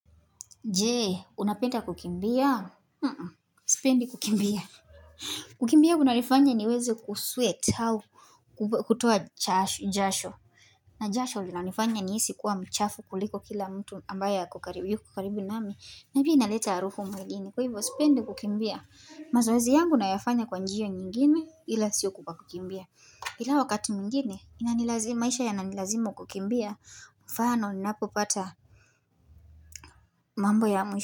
Je, unapenda kukimbia?, sipendi kukimbia. Kukimbia kunanifanya niweze kusweat au kutoa jasho. Na jasho linanifanya nihisi kuwa mchafu kuliko kila mtu ambaye yuko karibu nami. Na pia inaleta harufu mwengine. Kwahivyo, sipendi kukimbia. Mazoezi yangu nayafanya kwa njia nyingine ila sio kwa kukimbia. Hila wakati mwingine, maisha yananilazimu kukimbia, mfano ninapopata mambo ya mwisho.